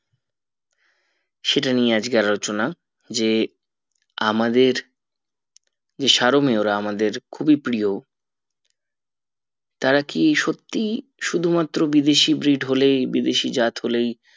সেটা নিয়ে আজকে আলোচনা যে আমাদের যে সারোমীয়রা আমাদের খুবই প্রিয় তারা কি সত্যি শুধু মাত্র বিদেশী breed হলেই বিদেশি জাত হলেই